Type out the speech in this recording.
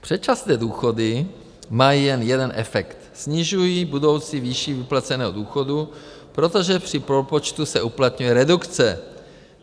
Předčasné důchody mají jen jeden efekt: snižují budoucí výši vyplaceného důchodu, protože při propočtu se uplatňuje redukce.